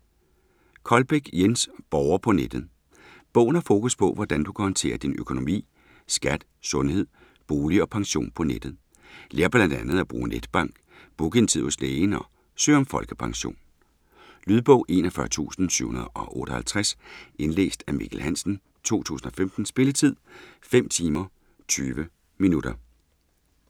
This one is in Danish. Koldbæk, Jens: Borger på nettet Bogen har fokus på, hvordan du kan håndtere din økonomi, skat, sundhed, bolig og pension på nettet. Lær blandt andet at bruge netbank, booke en tid hos lægen og søge om folkepension. Lydbog 41758 Indlæst af Mikkel Hansen, 2015. Spilletid: 5 timer, 20 minutter.